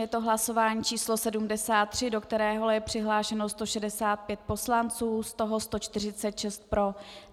Je to hlasování číslo 73, do kterého je přihlášeno 165 poslanců, z toho 146 pro.